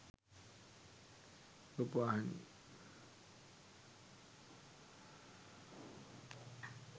rupawahini